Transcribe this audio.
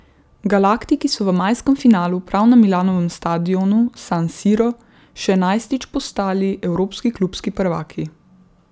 Galaktiki so v majskem finalu, prav na Milanovem stadionu San Siro, še enajstič postali evropski klubski prvaki.